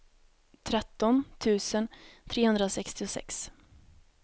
tretton tusen trehundrasextiosex